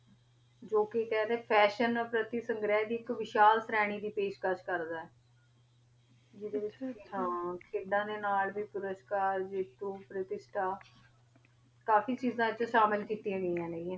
ਜੋ ਕੁਛ ਖਾ ਰਹਾ ਨਾ ਅਸੀਂ ਸੰਗਾਰੀ ਫਾਸ਼ਿਓਂ ਵਸਲ ਤਕ ਕਰਦਾ ਆ ਆ ਦਾ ਨਾਲ ਵੀ ਪੁਰਸਕਾਰ ਵੀ ਕਰਦਾ ਆ ਕਾਫੀ ਚੀਜ਼ਾ ਅਥਾ ਸ਼ਾਮਿਲ ਕੀਤਿਆ ਗਯਾ ਨਾ.